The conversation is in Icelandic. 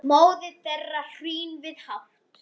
móðir þeirra hrín við hátt